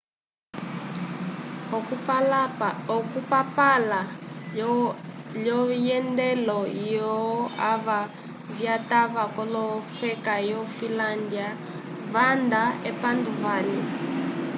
okupapala lovyendelo vyov ava vyatwa kofeka yo filandya vandela mo epandu vali